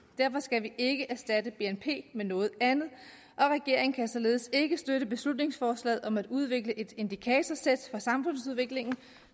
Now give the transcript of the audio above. derfor skal vi ikke erstatte bnp med noget andet og regeringen kan således ikke støtte beslutningsforslaget om at udvikle et indikatorsæt for samfundsudviklingen